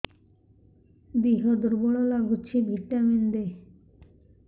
ଦିହ ଦୁର୍ବଳ ଲାଗୁଛି ଭିଟାମିନ ଦେ